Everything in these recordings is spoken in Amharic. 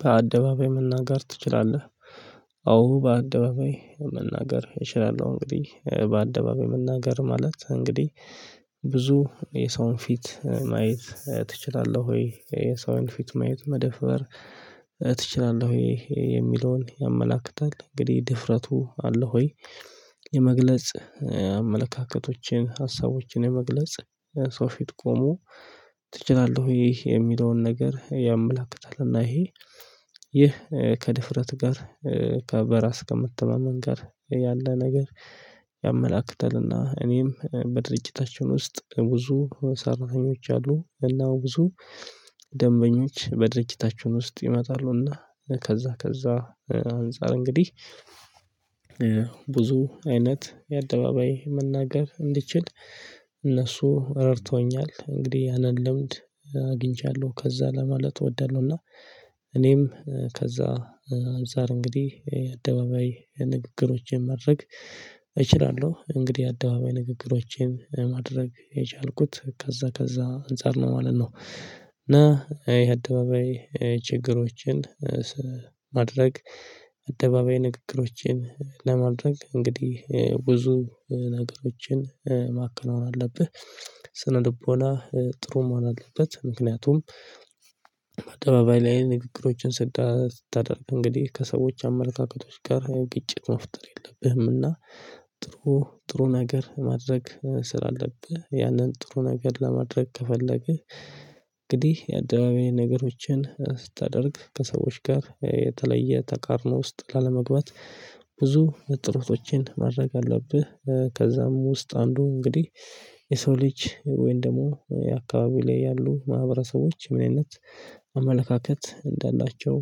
በአደባባይ መናገር ትችላለህ? አዎ በአደባባይ መናገር እችላለሁ። እንግዲህ በአደባባይ መናገር ማለት እንግዲህ ብዙ የሰውን ፊት ማየት ትችላለህ ወይ የሰውን ፊት ማየት መደፈር ትችላለህ ወይ የሚለውን ያመላክታል እንግዲህ ድፍረቱ አለ ወይ የመግለጽ አመለካከቶችን ሀሳቦችን የመግለጽ። ሰው ፊት ቆሞ ትችላለህ ይሄ የሚለውን ነገር ያመላክታል። እና ይሄ ይህ ከድፍረት ጋር ከበራስ ከመተማመን ጋር ያለ ነገር። ያመላክታልና እኔም በድርጅታችን ውስጥ ብዙ ሰራተኞች አሉ። እና ብዙ ደንበኞች በድርጅታቸውን ውስጥ ይመጣሉና። ከዛ ከዛ አንፃር እንግዲህ ብዙ አይነት የአደባባይ መናገር እንድችል እነሱ ረድቶኛል እንግዲህ ያንን ልምድ አግኝቻለሁ። ከዛ ለማለት እወዳለሁና። እኔም ከዛ ዛሬ እንግዲህ የአደባባይ ንግግሮችን ማድረግ እችላለሁ። እንግዲህ አደባባይ ንግግሮቼን ማድረግ የቻልኩት ከዛ ከዛ አንፃር ነው ማለት ነው። እና የአደባባይ ችግሮችን ማድረግ አደባባይ ንግግሮችን ለማድረግ እንግዲህ ብዙ ነገሮችን ማከናወን አለብህ። ስነ ልቦና ጥሩ መሆን አለበት። ምክንያቱም አጠባባይ ላይ ንግግሮችን ስታደርግ እንግዲህ ከሰዎች አመለካከቶች ጋር ያው ግጭት መፍጠር የለብህምና። ጥሩ ጥሩ ነገር ማድረግ ስላለብህ ያንን ጥሩ ነገር ለማድረግ ከፈለግህ እንግዲህ የአደባባይ ነገሮችን ስታደርግ ከሰዎች ጋር የተለየ ተቃርኖ ውስጥ ላለመግባት ብዙ ጥሩቶችን ማድረግ አለብህ። ከዛም ውስጥ አንዱ እንግዲህ የሰው ልጅ ወይንም ደግሞ የአካባቢ ላይ ያሉ ማህበረሰቦች ምን አይነት አመለካከት እንዳላቸው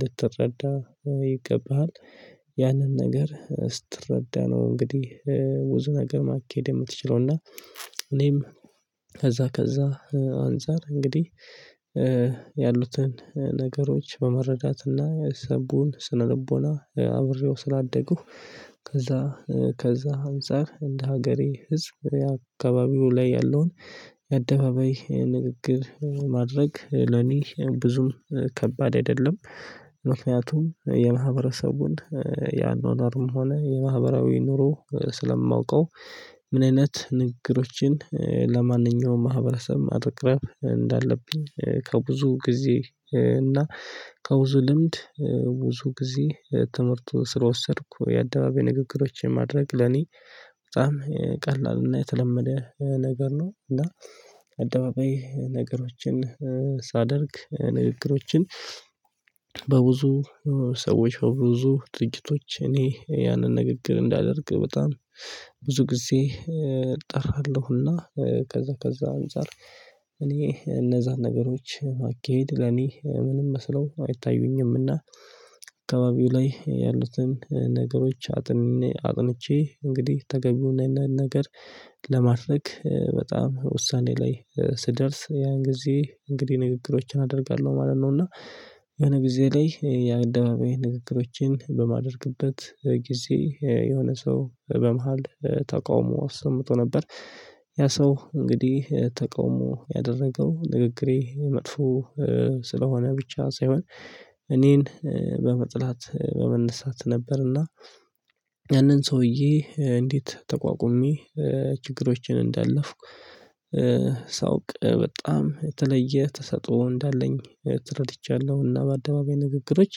ልትረዳ ይገባሃል። ያንን ነገር ስትረዳ ነው እንግዲህ ብዙ ነገር ማካሄድ የምትችለው። እና እኔም ከዛ ከዛ አንፃር እንግዲህ ያሉትን ነገሮች በመረዳትና የሰዉን ስነልቦና አብሬው ስላደግሁ ከዛ ከዛ አንፃር እንደ ሀገሬ ህዝብ አካባቢው ላይ ያለውን አደባባይ ንግግር ማድረግ ለኔ ብዙም ከባድ አይደለም። ምክንያቱም የማህበረሰቡን የአኗኗርም ሆነ የማህበራዊ ኑሮ ስለማውቀው። ምን አይነት ንግግሮችን ለማንኛውም ማህበረሰብ ማቅረብ እንዳለብኝ ከብዙ ጊዜ እና ከብዙ ልምድ ብዙ ጊዜ ትምህርት ስለወሰድኩ የአደባባይ ንግግሮችን ማድረግ ለኔ በጣም ቀላል እና የተለመደ ነገር ነው። እና አደባባይ ነገሮችን ሳደርግ ንግግሮችን በብዙ ሰዎች ብዙ ድርጅቶች እኔ ያንን ንግግር እንዳደርግ በጣም ብዙ ጊዜ እጠራለሁና። ከዛ ከዛ እኔ እነዛን ነገሮች ማካሄድ ለኔ ምንም መስለው አይታዩኝምና። አካባቢው ላይ ያሉትን ነገሮች አጥን አጥንቼ እንግዲህ ተገቢውና ነገር ለማድረግ በጣም ውሳኔ ላይ ስደርስ ያን ጊዜ እንግዲህ ንግግሮችን አደርጋለሁ ማለት ነው። እና የሆነ ጊዜ ላይ የአደባባይ ንግግሮችን በማደርግበት ጊዜ የሆነ ሰው በመሃል ተቃውሞ አሰምቶ ነበር። ያ ሰው እንግዲህ ተቃውሞ ያደረገው ንግግሬ መጥፎ ስለሆነ ብቻ ሳይሆን እኔን በመጥላት በመነሳት ነበርና። ያንን ሰውዬ እንዴት ተቋቁሜ ችግሮችን እንዳለፍኩ። ሳውቅ በጣም የተለየ ተሰጥኦ እንዳለኝ ተረድቻለሁ። እና በአደባባይ ንግግሮች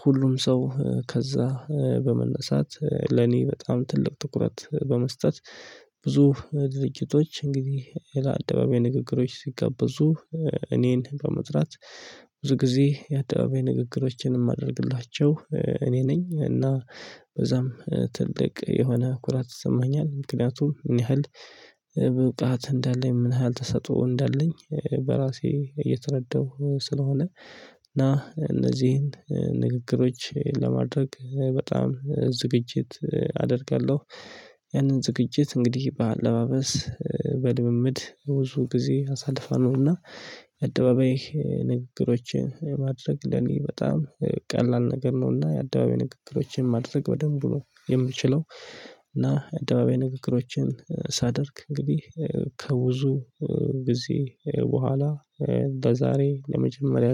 ሁሉም ሰው ከዛ በመነሳት ለኔ በጣም ትልቅ ትኩረት በመስጠት ብዙ ድርጅቶች እንግዲህ ለአደባባይ ንግግሮች ሲጋበዙ እኔን በመጥራት ብዙ ጊዜ የአደባባይ ንግግሮችንም ማደርግላቸው እኔ ነኝ እና በዛም ትልቅ የሆነ ኩራት ይሰማኛል። ምክንያቱም ምን ያህል ብቃት እንዳለኝ ምን ያህል ተሰጥኦ እንዳለኝ በራሴ እየተረዳሁ ስለሆነ። እና እነዚህን ንግግሮች ለማድረግ በጣም ዝግጅት አደርጋለሁ። ያንን ዝግጅት እንግዲህ በአለባበስ በልምምድ ብዙ ጊዜ አሳልፋለውና። አደባባይ ንግግሮችን ማድረግ ለኔ በጣም ቀላል ነገር ነውና። የአደባባይ ንግግሮችን ማድረግ በደንብ ነው የምችለው። እና የአደባባይ ንግግሮችን ሳደርግ እንግዲህ ከብዙ ጊዜ በኋላ እንደዛሬ ለመጀመሪያ